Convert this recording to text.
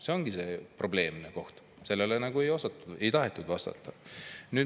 See ongi see probleemne koht, sellele ei osatud või ei tahetud vastata.